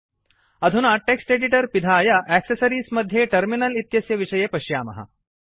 अधुना text editor पिधाय accessories मध्ये टर्मिनल इत्यस्य विषये पश्यामः